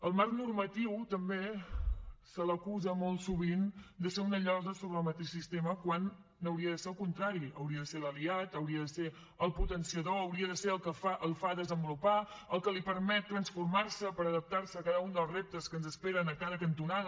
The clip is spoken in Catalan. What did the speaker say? al marc normatiu també se l’acusa molt sovint de ser una llosa sobre el mateix sistema quan hauria de ser el contrari n’hauria de ser l’aliat n’hauria de ser el potenciador hauria de ser el que el fa desenvolupar el que li permet transformar se per adaptar se a cada un dels reptes que ens esperen a cada cantonada